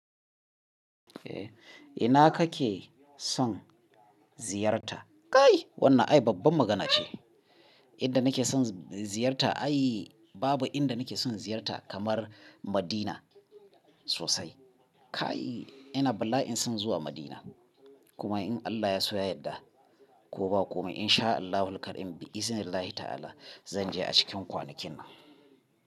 Eh ina kake son ziyarta? Kai wannan ai babban magana ce. Inda nake son ziyarta ai babu inda nake son ziyarta kamar Madina sosai. Kai ina bala'in son zuwa Madina kuma in Allah ya so ya yadda ko ba komai In Shaa Allahu Al-Kareem Bi iznillahi Ta'ala zan je a cikin kwanakin nan.